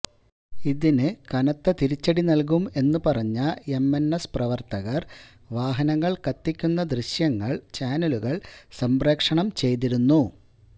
ഇതിന് കനത്ത തിരിച്ചടി നല്കും എന്ന് പറഞ്ഞ എംഎന്എസ് പ്രവര്ത്തകര് വാഹനങ്ങള് കത്തിയ്ക്കുന്ന ദൃശ്യങ്ങള് ചാനലുകള് സംപ്രേക്ഷണം ചെയ്തിരുന്നു